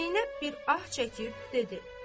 Zeynəb bir ah çəkib dedi: